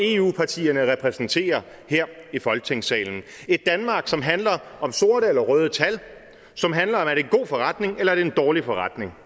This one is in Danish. eu partierne repræsenterer her i folketingssalen et danmark som handler om sorte eller røde tal som handler det er en god forretning eller det en dårlig forretning